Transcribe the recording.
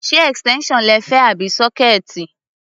Ṣé extension lẹ fẹ́ àbí sọkẹẹti?